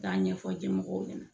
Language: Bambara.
T'a yɛfɔ jɛmɔgɔw jɛmoye ɲɛna